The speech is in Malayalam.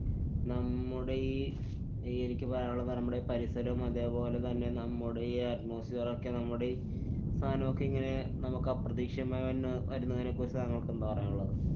നമ്മുടെ ഈ ഈ എനിക്ക് പറയാനുള്ളതുന്നു പറയുംബളെ പരിസരം അതെപോലെത്തന്നെ നമ്മുടെ ഈ കളൊക്കെ നമ്മുടെ ഈ സാനൊക്കെ ഇങ്ങനെ നമുക്കപ്രതീക്ഷിതമായി വന്ന~ വരുന്നതിനെ കുറിച്ച് താങ്കള്‍ക്കെന്താണ് പറയാനുള്ളത്?